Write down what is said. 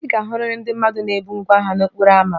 Ị ga-ahụrịrị ndị mmadụ na-ebu ngwá ahịa n'okporo ámá